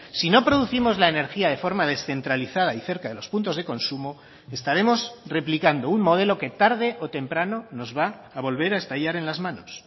sino producimos la energía de forma descentralizada y cerca de los puntos de consumo estaremos replicando un modelo que tarde o temprano nos va a volver a estallar en las manos